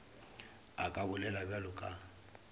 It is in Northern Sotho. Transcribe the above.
a ka bolela bjalo ka